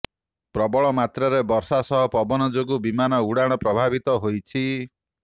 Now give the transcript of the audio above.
ପ୍ରବଳ ମାତ୍ରାରେ ବର୍ଷା ସହ ପବନ ଯୋଗୁ ବିମାନ ଉଡାଣ ପ୍ରଭାବିତ ହୋଇଛି